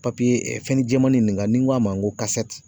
Papiye fɛn jɛmanin nin kan ni n ko a ma n ko